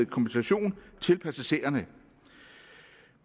kompensation til passagererne